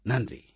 நன்றி